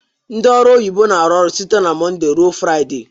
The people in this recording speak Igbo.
Ndị ọru oyibo na-arụ ọrụ site na Mọnde ruo Fraịde.